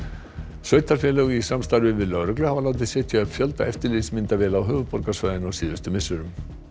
sveitarfélög í samstarfi við lögreglu hafa látið setja upp fjölda eftirlitsmyndavéla á höfuðborgarsvæðinu á síðustu misserum